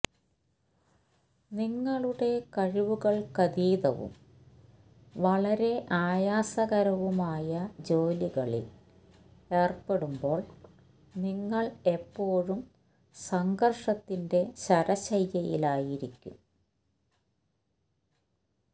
നിങ്ങളുടെ കഴിവുകൾക്കതീതവും വളരെ ആയാസകരവുമായ ജോലികളിൽ ഏർപ്പെടുമ്പോൾ നിങ്ങൾ എപ്പോഴും സംഘർഷത്തിന്റെ ശരശയ്യയിലായിരിക്കും